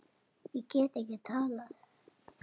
Ég get ekki talað.